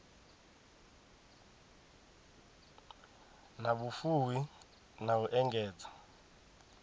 na vhufuwi na u engedza